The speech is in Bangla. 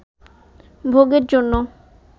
ভোগের জন্য